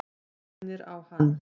Mænir á hann.